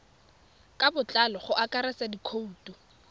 ka botlalo go akaretsa dikhoutu